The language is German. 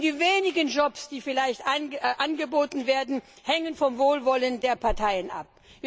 Die wenigen Jobs, die vielleicht angeboten werden, hängen vom Wohlwollen der Parteien ab.